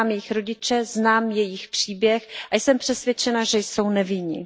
Znám jejich rodiče, znám jejich příběh a jsem přesvědčena, že jsou nevinní.